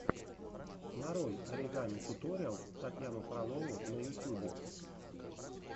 нарой оригами туториалс татьяну фролову на ютьюбе